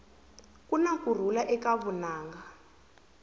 kuna kurhula eka vunanga